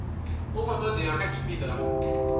a khou todea kha tshipida